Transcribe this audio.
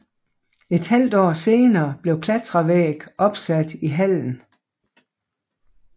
Et halvt år senere blev klatrevæg opsat i hallen